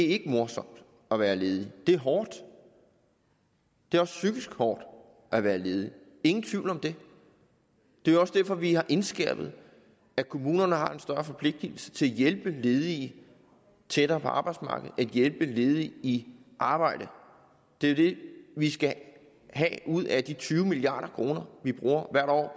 ikke morsomt at være ledig det er hårdt det er også psykisk hårdt at være ledig ingen tvivl om det det er også derfor at vi har indskærpet at kommunerne har en større forpligtelse til at hjælpe ledige tættere på arbejdsmarkedet og hjælpe ledige i arbejde det er det vi skal have ud af de tyve milliard kr vi hvert år